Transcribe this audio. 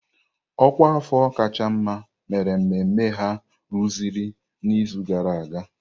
Ọkwa afọ kacha mma mere mmemme ha rụzuru n'izu gara aga.